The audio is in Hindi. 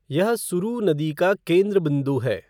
यह सुरू नदी का केंद्र बिंदु है।